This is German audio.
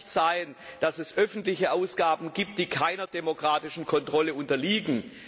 Es kann nicht sein, dass es öffentliche Ausgaben gibt, die keiner demokratischen Kontrolle unterliegen!